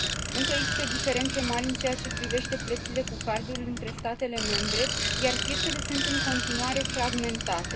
Încă există diferențe mari în ceea ce privește plățile cu cardul între statele membre, iar piețele sunt, în continuare, fragmentate.